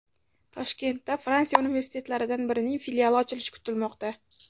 Toshkentda Fransiya universitetlaridan birining filiali ochilishi kutilmoqda.